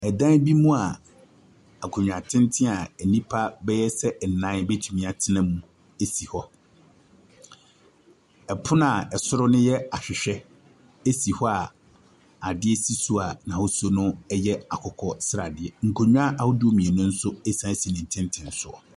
Ɛdan bi mu a akonwa tenten a enipa bɛ yɛ sɛ ɛnan ebetumi atena mu esi hɔ. Ɛpono a ɛsoro no yɛ ahwɛhwɛ esi hɔ a adeɛ si soa n'ahosuo no yɛ akokɔ sradeɛ. Akonwa ahodoɔ mmienu nso ɛsan si netenten soɔ.